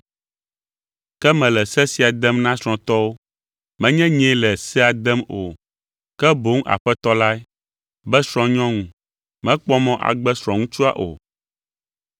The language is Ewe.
Ke mele se sia dem na srɔ̃tɔwo (menye nyee le sea dem o, ke boŋ Aƒetɔ lae) be srɔ̃nyɔnu mekpɔ mɔ agbe srɔ̃ŋutsua o.